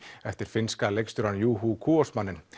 eftir finnska leikstjórann Juho Kuosmanen